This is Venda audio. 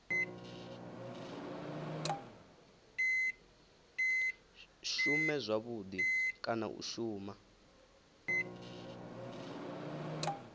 shume zwavhudi kana u shuma